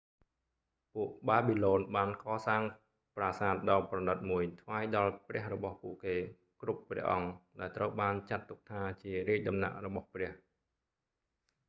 ពួកបាប៊ីឡូនបានកសាងប្រាសាទដ៏ប្រណីតមួយថ្វាយដល់ព្រះរបស់ពួកគេគ្រប់ព្រះអង្គដែលត្រូវបានចាត់ទុកថាជារាជដំណាក់របស់ព្រះ